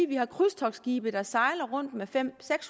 vi har krydstogtsskibe der sejler rundt med fem